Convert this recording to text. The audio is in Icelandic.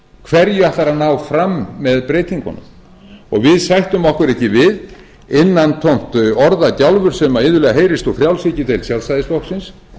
hverju ætlarðu að ná fram með breytingunum og við ætlum innantómt orðagjálfur sem iðulega heyrist úr frjálshyggjudeild sjálfstæðisflokksins